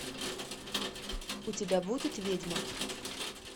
у тебя будет ведьма